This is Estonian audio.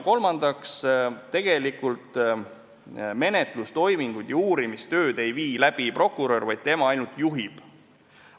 Kolmandaks, tegelikult ei tee menetlustoiminguid ja uurimistööd prokurör, tema ainult juhib.